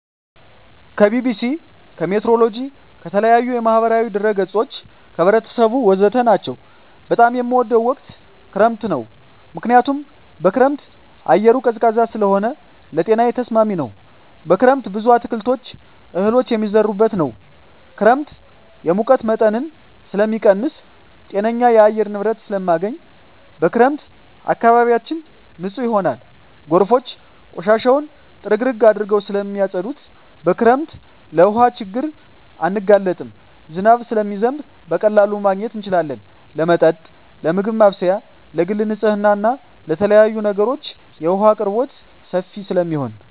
ከቢቢሲ, ከሜትሮሎጅ, ከተለያዪ የማህበራዊ ድረ ገፆች , ከህብረተሰቡ ወዘተ ናቸው። በጣም የምወደው ወቅት ክረምት ነው ምክንያቱም በክረምት አየሩ ቀዝቃዛ ስለሆነ ለጤናዬ ተስማሚ ነው። በክረምት ብዙ አትክልቶች እህሎች የሚዘሩበት ነው። ክረምት የሙቀት መጠንን ስለሚቀንስ ጤነኛ የአየር ንብረት ስለማገኝ። በክረምት አካባቢያችን ንፁህ ይሆናል ጎርፎች ቆሻሻውን ጥርግርግ አድርገው ስለማፀዱት። በክረምት ለውሀ ችግር አንጋለጥም ዝናብ ስለሚዘንብ በቀላሉ ማግኘት እንችላለን ለመጠጥ ለምግብ ማብሰያ ለግል ንፅህና ለተለያዪ ነገሮች የውሀ አቅርቦት ሰፊ ስለሚሆን።